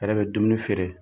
yɛrɛ bɛ dumuni feere.